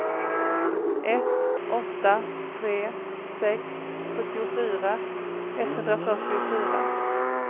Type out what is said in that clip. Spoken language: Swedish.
ett åtta tre sex sjuttiofyra etthundrafyrtiofyra